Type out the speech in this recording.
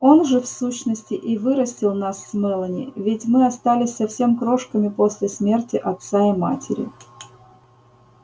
он же в сущности и вырастил нас с мелани ведь мы остались совсем крошками после смерти отца и матери